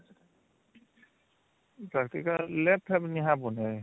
practical lab fab